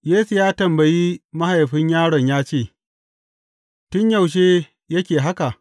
Yesu ya tambayi mahaifin yaron ya ce, Tun yaushe yake haka?